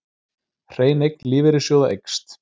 Hrein eign lífeyrissjóða eykst